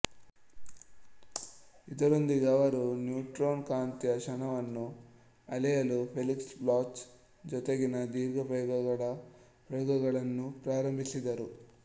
ಇದರೊಂದಿಗೆ ಅವರು ನ್ಯೂಟ್ರಾನ್ನ ಕಾಂತೀಯ ಕ್ಷಣವನ್ನು ಅಳೆಯಲು ಫೆಲಿಕ್ಸ್ ಬ್ಲಾಚ್ ಜೊತೆಗಿನ ದೀರ್ಘ ಪ್ರಯೋಗಗಳ ಪ್ರಯೋಗಗಳನ್ನು ಪ್ರಾರಂಭಿಸಿದರು